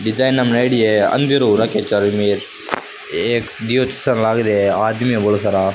Design बनेडी है अंधेरों हो रखे चारों मेर एक दियो चास लागरी है आदमी है बोला सारा।